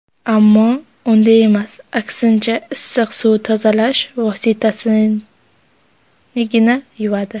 Ammo unday emas, aksincha, issiq suv tozalash vositasinigina yuvadi.